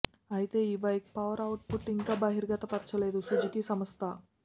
అయితే ఈ bike power output ఇంకా బహిర్గతపరచలేదు సుజుకీ సంస్థ